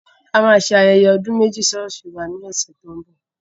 A máa ṣe ayẹyẹ ọdún méjì ṣọ́ọ̀ṣì wa lọ́sẹ̀ tó ń bọ̀.